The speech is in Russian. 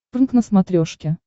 прнк на смотрешке